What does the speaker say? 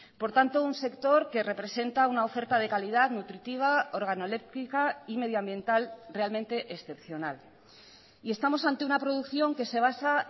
por tanto un sector que representa una oferta de calidad nutritiva organoléptica y medioambiental realmente excepcional y estamos ante una producción que se basa